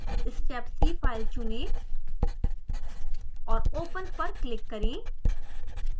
stepc file चुनें और open पर क्लिक करें